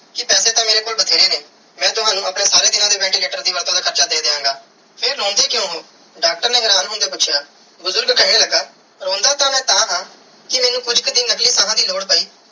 ਕੇ ਪੈਸੇ ਤੇ ਮੇਰੇ ਕੋਲ ਬੈਤੇਰੇ ਨੇ ਮੈਂ ਤਵਣੁ ਆਪਣੇ ਸਾਰੇ ਦੀਨਾ ਦੇ ventilator ਦੇ ਵੱਧ ਤੂੰ ਵੱਧ ਹਾਰਚਾ ਦੇ ਦੀਆ ਗਏ ਫਿਰ ਰੋਂਦੇ ਕਿਊ ਹੋ ਡਾਕਟਰ ਨੇ ਹੈਰਾਨ ਹੋਂਦਿਆ ਪੂਛਿਆ ਬੁਜ਼ਰਗ ਕੇਹਨ ਲਗਾ ਰੋਂਦਾ ਤੇ ਮੈਂ ਤਹਾ ਕੇ ਕੁਛ ਕੇ ਦਿਨ ਨਕਲੀ ਸਾਹ ਦੀ ਲੋੜ ਪੈ.